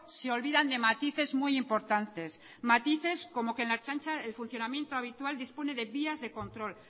se olvidan de matices muy importantes matices como que en la ertzaintza el funcionamiento habitual dispone de vías de control